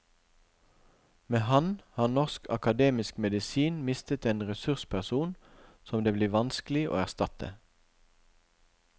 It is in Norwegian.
Med ham har norsk akademisk medisin mistet en ressursperson som det blir vanskelig å erstatte.